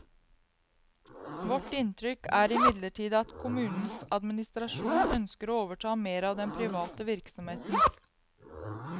Vårt inntrykk er imidlertid at kommunens administrasjon ønsker å overta mer av den private virksomheten.